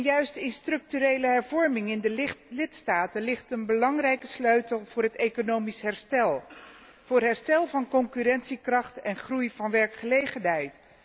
Juist in structurele hervormingen in de lidstaten, ligt een belangrijke sleutel voor economisch herstel, voor herstel van concurrentiekracht en groei van werkgelegenheid.